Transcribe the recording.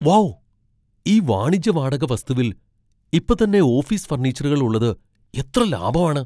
Wow ! ഈ വാണിജ്യ വാടക വസ്തുവിൽ ഇപ്പത്തന്നെ ഓഫീസ് ഫർണിച്ചറുകൾ ഉള്ളത് എത്ര ലാഭാണ്.